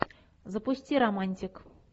запусти романтик